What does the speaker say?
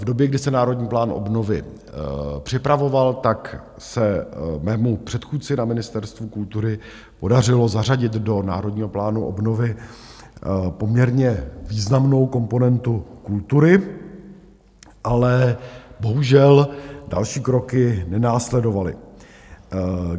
V době, kdy se Národní plán obnovy připravoval, tak se mému předchůdci na Ministerstvu kultury podařilo zařadit do Národního plánu obnovy poměrně významnou komponentu kultury, ale bohužel další kroky nenásledovaly.